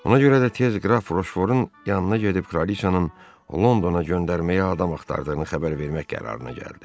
Ona görə də tez qraf Roşforun yanına gedib kraliçanın Londona göndərməyə adam axtırdığını xəbər vermək qərarına gəldi.